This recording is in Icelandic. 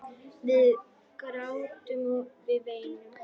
Við grátum, við veinum.